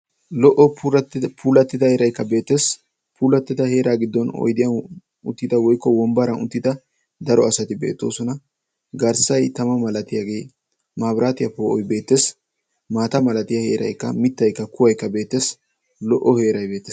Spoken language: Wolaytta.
Lo"o puulattida heeraykka beettees. he heeraa giddon oydiyaan uttida woykko wonbbaran uttida daro asati beettoosona. garssay tama malatiyaagee maabiraatiyaa poo'oy beettees. maata malatiyaa heeraykka kuwaykka beettees. lo"o heerey beettees.